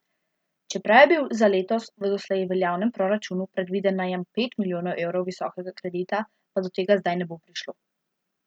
Čeprav je bil za letos v doslej veljavnem proračunu predviden najem pet milijonov evrov visokega kredita, pa do tega zdaj ne bo prišlo.